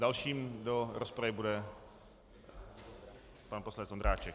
Dalším do rozpravy bude pan poslanec Ondráček.